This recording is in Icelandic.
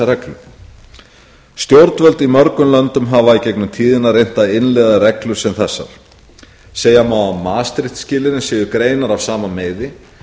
gegnum tíðina reynt að innleiða reglur sem þessar segja má að maastricht skilyrðin séu greinar af sama meiði